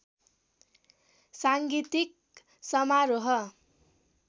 साङ्गीतिक समारोह